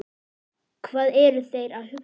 Hvað eru þeir að huga?